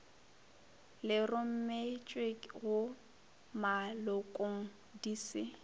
le rometšwego malokong di se